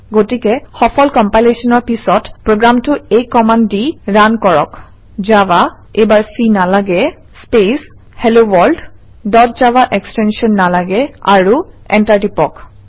গতিকে সফল কম্পিলেশ্যনৰ পিছত প্ৰগ্ৰামটো এই কমাণ্ড দি ৰান কৰক - জাভা এইবাৰ চি নালাগে space hello world dot Java extension নালাগে আৰু এণ্টাৰ টিপক